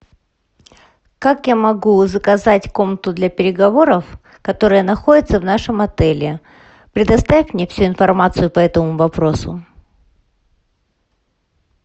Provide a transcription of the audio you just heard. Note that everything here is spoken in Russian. как я могу заказать комнату для переговоров которая находится в нашем отеле предоставь мне всю информацию по этому вопросу